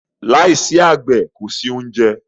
Lai si àgbẹ̀ kòsí oúnjẹ